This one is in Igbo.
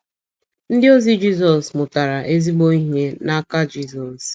Ndịozi Jizọs mụtara ezigbo ihe n’aka Jizọs.